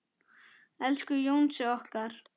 Elsku Jónsi okkar.